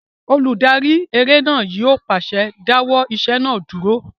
Olùdarí eré náà yóò pàṣẹ "dáwọ́ ìṣe náà dúró!"